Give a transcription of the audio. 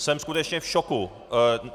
Jsem skutečně v šoku!